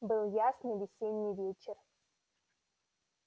был ясный весенний вечер